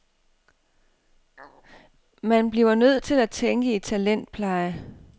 Man bliver nødt til at tænke i talentpleje.